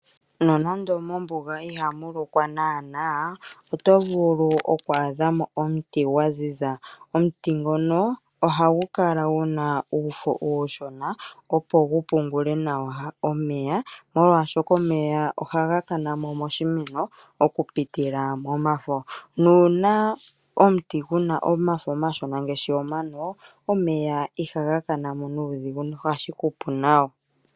Nonando mombuga ihamu lokwa naana oto vulu oku adha mo omuti gwa ziza. Omuti ngono ohagu kala gu na uufo uushona opo gu pungule nawa omeya molwaashoka omeya ohaga kana mo moshimeno okupitila momafo nuuna omuti gu na omafo omashona ngaashi omano omeya ohaga kana mo nuudhigu nohashi hupu nawa.